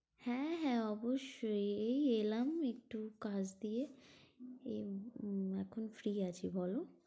হ্যাঁ হ্যাঁ, অবশ্যই, এই এলাম একটু কাজ দিয়ে এই উম এখন free আছি বলো।